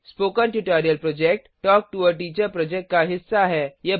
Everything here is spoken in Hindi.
spoken tutorial project talk to a teacher project का हिस्सा है